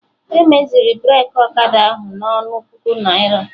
Emeziri Breki Ọkada ahụ na ọnụ otu puku naira